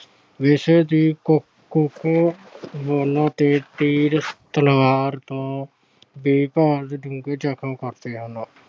ਤੀਰ ਤਲਵਾਰ ਤੋਂ ਡੂੰਘੇ ਜਖਮ ਕਰਦੇ ਹਨ।